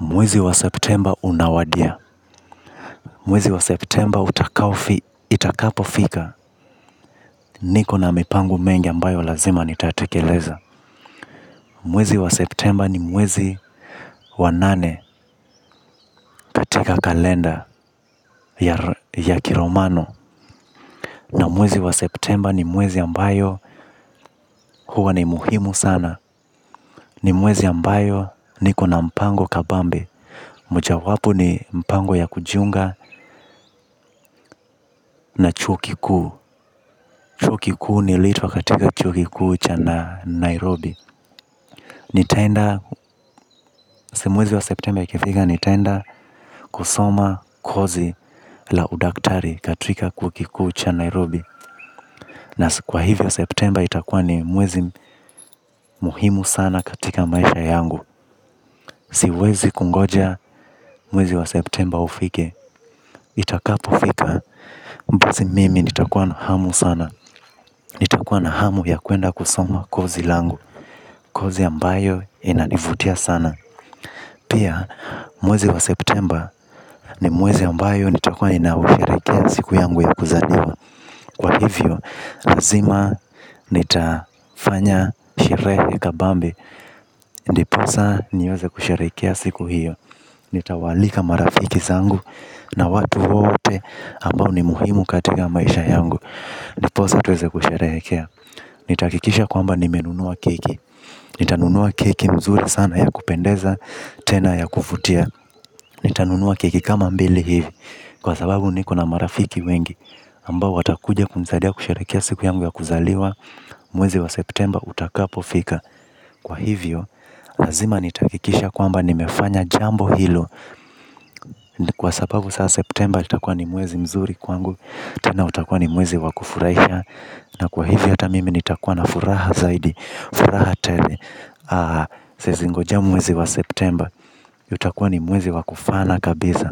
Mwezi wa septemba unawadia. Mwezi wa september itakapofika. Niko na mipango mengi ambayo lazima nitatekeleza. Mwezi wa septemba ni mwezi wa nane katika kalenda ya kiromano. Na mwezi wa septemba ni mwezi ambayo huwa ni muhimu sana. Ni mwezi ambayo niko na mpango kabambe. Mojawapu ni mpango ya kujiunga na chuo kikuu. Chuo kikiu nilitwa katika chuo kikuu cha Na Nairobi. Nitaenda, si mwezi wa septemba ukifika nitaenda kusoma kozi la udaktari katika chuo kikuu cha Nairobi. Na kwa hivyo septemba itakua ni mwezi muhimu sana katika maisha yangu. Siwezi kungoja mwezi wa septemba ufike. Itakapofika, si mimi nitakuwa na hamu sana nitakuwa na hamu ya kwenda kusoma course langu. Kozi ambayo inanivutia sana. Pia mwezi wa September ni mwezi ambayo nitakua inausharekea siku yangu ya kuzaliwa. Kwa hivyo, lazima nitafanya sherehe kabambe. Ndipo sa niweze kusherehekea siku hiyo. Nitawaalika marafiki zangu na watu wote ambao ni muhimu katika maisha yangu. Ndipo sa tuweze kusherehekea. Nitakikisha kwamba nimenunua keki. Nitanunua keki nzuri sana ya kupendeza, tena ya kuvutia. Nitanunua keki kama mbili hivi. Kwa sababu niko na marafiki wengi ambao watakuja kunisaidia kusherehekea siku yangu ya kuzaliwa. Mwezi wa septemba utakapofika kwa hivyo, lazima nitakikisha kwamba nimefanya jambo hilo. Kwa sababu sasa septemba itakuwa ni mwezi mzuri kwangu. Tena utakuwa ni mwezi wa kufurahisha. Na kwa hivyo hata mimi nitakuwa na furaha zaidi. Furaha tele. Siwezi ngoja mwezi wa septemba juu utakuwa ni mwezi kufana kabisa.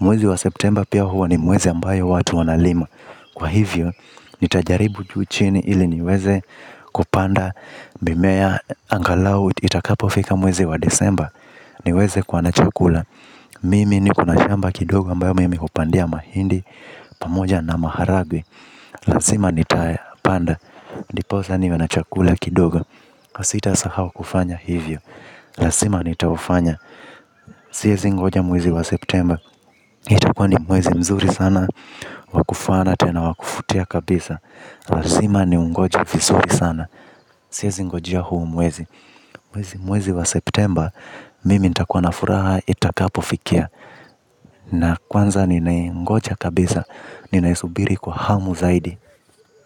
Mwezi wa September pia huwa ni mwezi ambayo watu wanalima. Kwa hivyo, nitajaribu juu chini ili niweze kupanda mimea angalau itakapofika mwezi wa December. Niweze kuwa na chakula. Mimi niko na shamba kidogo ambayo mimi kupandia mahindi. Pamoja na maharagwe. Lazima nitapanda ndiposa niwe na chakula kidogo. Sitasahau kufanya hivyo lazima nitaufanya siwezi ngoja mwezi wa Septemba itakuwa ni mwezi mzuri sana. Wa kufana tena wakuvutia kabisa. Lazima niungoje visuri sana. Siwezi ngojie huu mwezi. Mwezi mwezi wa septemba. Mimi nitakuwa na furaha itakapofikia. Na kwanza ninaengoja kabisa. Ninaesubiri kwa hamu zaidi.